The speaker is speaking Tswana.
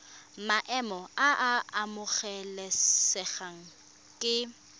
maemo a a amogelesegang ke